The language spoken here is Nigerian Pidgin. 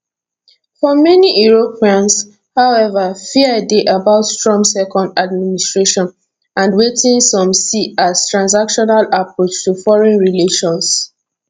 for many europeans however fear dey about trump second administration and wetin some see as transactional approach to foreign relations